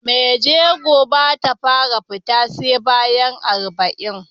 Mai jego Bata fara fita SE bayan kwAna arba'in